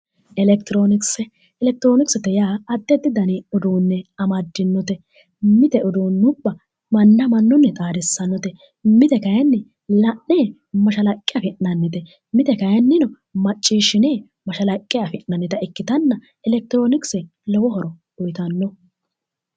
electiroonikisets yaa addi addi dani uduunnicho amaddinote mite uduunnubba mannna mannuni xaadissannote mite kayiinni la'ne mashalaqqe afi'nannite mite kayiinnino macciishshine mashalaqqe afi'nannita ikkitanna elekitroonikise lowo horo uyiitanno.